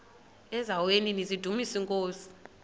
eziaweni nizidumis iinkosi